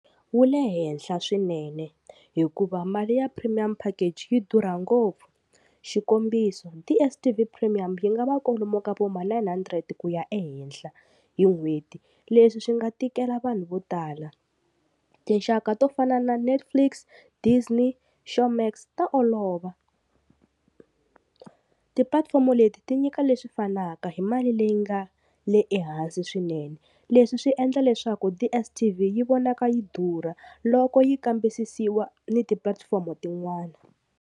Wu le henhla swinene hikuva mali ya premium package yi durha ngopfu xikombiso DSTV premium yi nga va kwalomu ka vo ma nine hundred ku ya ehenhla hi n'hweti leswi swi nga tikela vanhu vo tala tinxaka to fana na Netflix, Disney, Showmax ta olova tipulatifomo leti ti nyika leswi fanaka hi mali leyi nga le ehansi swinene leswi swi endla leswaku DSTV yi vonaka yi durha loko yi kambisisiwa ni tipulatifomo tin'wani.